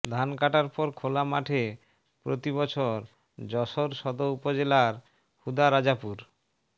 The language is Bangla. ধান কাটার পর খোলা মাঠে প্রতিবছর যশোর সদর উপজেলার হুদারাজাপুর